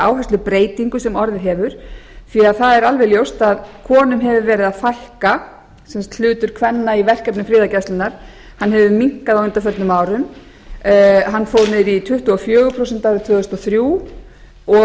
þessari áherslubreytingu sem orðið hefur því að það er alveg ljóst að konum hefur verið að fækka sem sagt hlutur kvenna í verkefnum friðargæslunnar hefur minnkað á undanförnum árum hann fór niður í tuttugu og fjögur prósent árið tvö þúsund og þrjú og